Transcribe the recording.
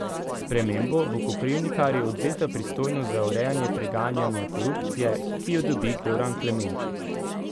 S spremembo bo Koprivnikarju odvzeta pristojnost za urejanje preganjanja korupcije, ki jo dobi Goran Klemenčič.